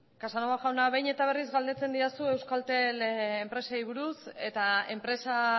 casanova jauna behin eta berriz galdetzen didazu euskaltel enpresei buruz eta enpresa